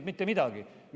– ei teinud mitte midagi.